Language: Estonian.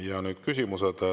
Ja nüüd küsimused.